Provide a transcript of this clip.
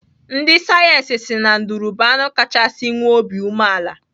Ndị sayensị si na nduru bụ anụ kachaa nwee obi umeala.